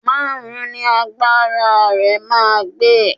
Márùn-ún ni agbára rẹ máa gbé.